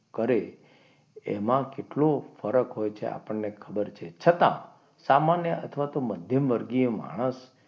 કરે એમાં કેટલો ફરક હોય છે આપણને ખબર છે છતાં સામાન્ય અથવા તો મધ્યમ વર્ગીય માણસ,